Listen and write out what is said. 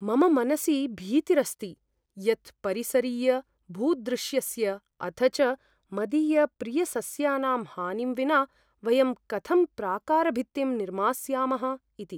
मम मनसि भीतिरस्ति यत् परिसरीयभूदृश्यस्य अथ च मदीयप्रियसस्यानां हानिं विना वयं कथं प्राकारभित्तिं निर्मास्यामः इति।